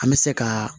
An bɛ se ka